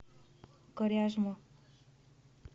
коряжму